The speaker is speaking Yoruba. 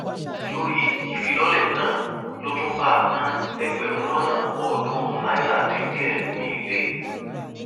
lórí ìfilọlẹ náà ló tún báànà ẹgbẹrún lọnà ọdúnrún náírà dín díẹ míín lé